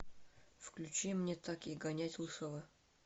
включи мне так и гонять лысого